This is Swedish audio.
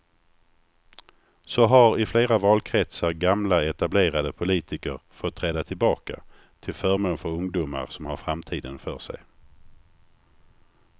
Så har i flera valkretsar gamla etablerade politiker fått träda tillbaka till förmån för ungdomar som har framtiden för sig.